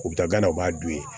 U bɛ taa gana u b'a dun